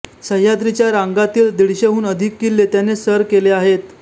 सह्याद्रीच्या रांगातील दीडशेहून अधिक किल्ले त्याने सर केले आहेत